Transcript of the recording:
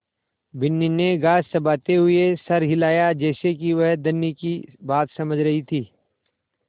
बिन्नी ने घास चबाते हुए सर हिलाया जैसे कि वह धनी की बात समझ रही थी